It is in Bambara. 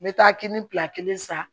N bɛ taa kini bila kelen san